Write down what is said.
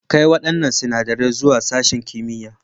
Kai waɗannan sinadarai zuwa sashin kimiyya.